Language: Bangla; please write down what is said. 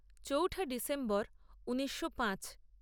চৌঠা ডিসেম্বর ঊনিশো পাঁচ